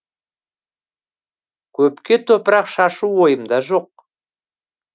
көпке топырақ шашу ойымда жоқ